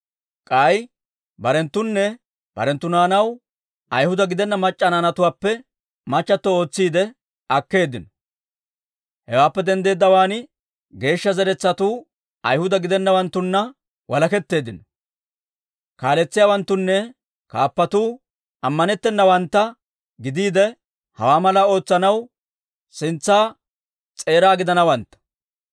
K'ay barenttoonne barenttu naanaw Ayhuda gidenna mac'c'a naanatuwaappe machato ootsiide akkeeddino; hewaappe denddeeddawaan geeshsha zeretsatuu Ayhuda gidenawanttunna walaketteeddino. Kaaletsiyaawanttunne kaappatuu ammanettennawantta gidiide, hawaa malaa ootsanaw sintsa s'eeraa gideeddino».